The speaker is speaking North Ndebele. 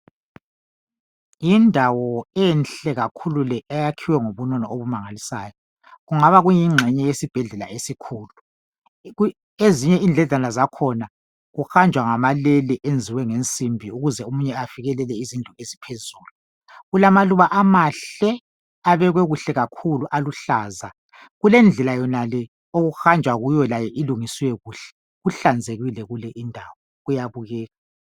Yindawo enhle kakhulu le eyakhiwe ngobunono obumangalisayo kungaba kuyingxenye yesibhedlela esikhulu. Ezinye indledlana zakhona kuhanjwa ngamalele enziwe ngensimbi ukuze omunye afinyelele izindlu eziphezulu. Kulamaluba amahle abekwe kuhle kakhulu aluhlaza kulendlela yonale okuhanjwa kiyo layo ilungiswe kuhle, kuhlanzekile kule indawo kuyabukeka.